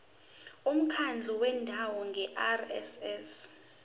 umkhandlu wendawo ngerss